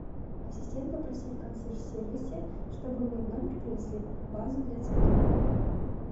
ассистент попроси в консьерж сервисе чтобы мне в номер принесли вазу для цветов